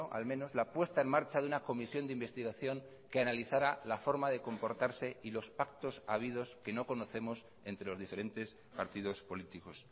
al menos la puesta en marcha de una comisión de investigación que analizara la forma de comportarse y los pactos habidos que no conocemos entre los diferentes partidos políticos